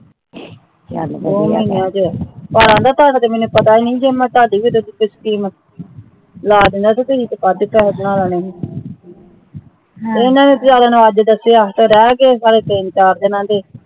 ਚੱਲ ਵਧੀਆਦੋ ਮਹੀਨਿਆਂ ਚ ਮੈਨੂੰ ਪਤਾ ਹੀ ਨਹੀਂ ਸੀ ਨੀ ਥੋੜੀ ਭੀ ਦਿੰਦੀ ਕੋਈ scheme ਲਾ ਦੇਣੀ ਸੀ ਇਹਨਾਂ ਨੇ ਤਾਂ ਮੈਨੂੰ ਅੱਜ ਦਸਿਆ ਤੇ ਰਹਿਗੇ ਸਾਰੇ ਤਿੰਨ ਚਾਰ ਦਿਨਾਂ ਦੇ